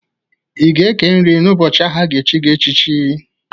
Ị ga-eke nri n'ụbọchị ahụ a ga-echi gị echichi.